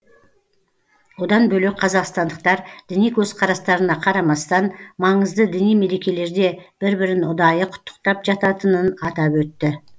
одан бөлек қазақстандықтар діни көзқарастарына қарамастан маңызды діни мерекелерде бір бірін ұдайы құттықтап жататынын атап өтті